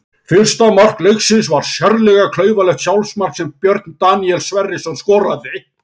Fyrsta mark leiksins var sérlega klaufalegt sjálfsmark sem Björn Daníel Sverrisson skoraði.